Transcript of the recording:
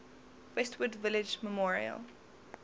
westwood village memorial